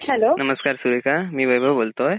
नमस्कार सुरेखा मी वैभव बोलतोय.